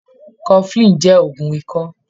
Cofflin jẹ́ ògun ikọ́.